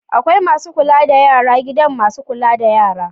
Akwai Masu kula da yara gidan masu kula da yara